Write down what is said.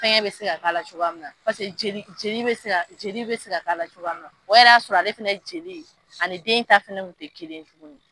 Fɛngɛ bɛ ka k'a la cogoya joli bɛ ka k'a la cogoya min na o yɛrɛ y'a sɔrɔ ale fana joli ani den ta fana tɛ kelen ye tuguni